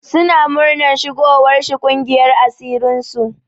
Suna muranar shigowar shi ƙungiyar asirin su.